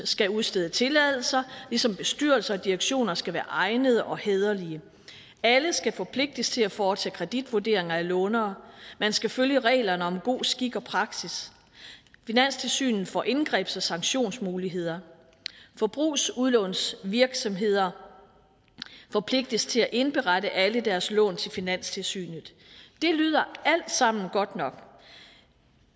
skal udstede tilladelser ligesom bestyrelser og direktioner skal være egnede og hæderlige alle skal forpligtes til at foretage kreditvurderinger af lånere man skal følge reglerne om god skik og praksis finanstilsynet får indgrebs og sanktionsmuligheder forbrugslånsvirksomheder forpligtes til at indberette alle deres lån til finanstilsynet det lyder alt sammen godt nok